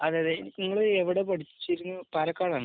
അതെ. അതെ. നിങ്ങൾ എവിടെയാണ് പഠിക്കുന്നത്? പാലക്കാടാണോ?